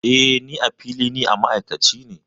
Eh, Ni, a fili, ni ma'aikaci ne.